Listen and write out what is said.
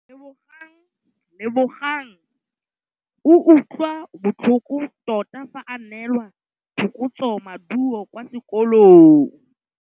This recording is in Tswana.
Lebogang o utlwile botlhoko tota fa a neelwa phokotsômaduô kwa sekolong.